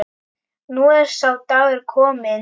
Nú er sá dagur kominn.